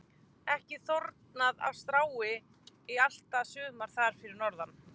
Ekki þornað af strái í allt sumar þar fyrir norðan.